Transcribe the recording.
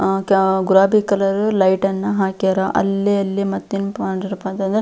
ಆ ಕಾ ಗುಲಾಬಿ ಕಲರ್ ಲೈಟ್ ನ್ನ ಹಾಕ್ಯಾರ ಅಲ್ಲಿ ಅಲ್ಲಿ ಮತ್ತೇನಪ್ಪ ಅಂತಂದ್ರೆ--